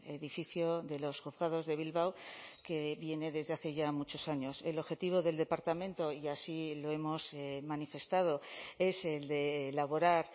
edificio de los juzgados de bilbao que viene desde hace ya muchos años el objetivo del departamento y así lo hemos manifestado es el de elaborar